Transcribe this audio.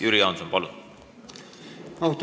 Jüri Jaanson, palun!